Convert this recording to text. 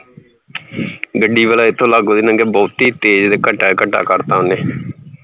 ਗੱਡੀ ਵਾਲਾ ਇਥੋਂ ਲਾਗੋਂ ਦੀ ਨੰਗਿਆ ਬਹੁਤੀ ਤੇਜ ਘੱਟਾ ਈ ਘੱਟਾ ਕਰਤਾ ਓਹਨੇ